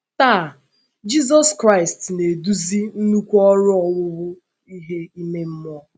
Taa,, Jizọs Kraịst na - eduzi nnukwu ọrụ owuwu ihe ime mmụọ.